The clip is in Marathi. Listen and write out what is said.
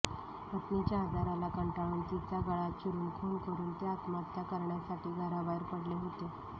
पत्नीच्या आजाराला कंटाळून तिचा गळा चिरुन खुन करुन ते आत्महत्त्या करण्यासाठी घराबाहेर पडले होते